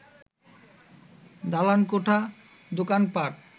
দালানকোঠা, দোকানপাট